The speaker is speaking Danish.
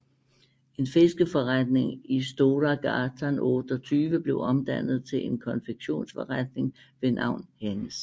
En fiskeforretning i Stora gatan 28 blev omdannet til en konfektionsforretning ved navn Hennes